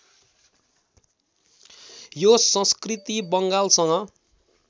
यो संस्कृति बङ्गालसँग